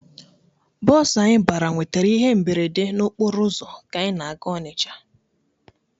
Bọọsụ anyị bara nwetara ihe mberede okporo ụzọ ka anyị na-aga Ọnịcha.